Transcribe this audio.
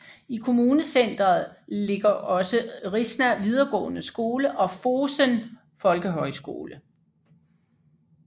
I kommunecenteret ligger også Rissa videregående skole og Fosen folkehøjskole